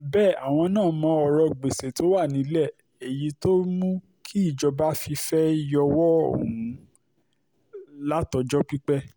bẹ́ẹ̀ àwọn náà mọ ọ̀rọ̀ gbèsè tó wà nílẹ̀ èyí tó mú kíjọba fi fẹ́ẹ́ yọwọ́ ọ̀hún látọjọ́ pípẹ́